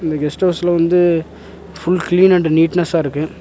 இந்த கெஸ்ட் அவுஸ்ல வந்து ஃபுல் க்ளீன் அண்ட் நீட்னெஸ்ஸா இருக்கு.